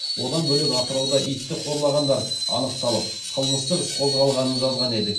одан бөлек атырауда итті қорлағандар анықталып қылмыстық іс қозғалғанын жазған едік